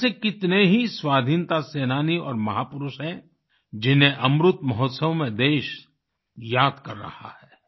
ऐसे कितने ही स्वाधीनता सेनानी और महापुरुष हैं जिन्हें अमृत महोत्सव में देश याद कर रहा है